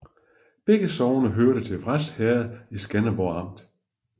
Begge sogne hørte til Vrads Herred i Skanderborg Amt